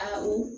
Awɔ